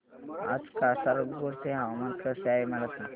आज कासारगोड चे हवामान कसे आहे मला सांगा